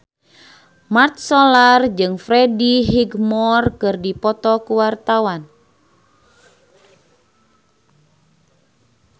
Mat Solar jeung Freddie Highmore keur dipoto ku wartawan